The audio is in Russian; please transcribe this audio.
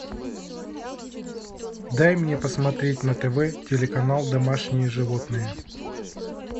дай мне посмотреть на тв телеканал домашние животные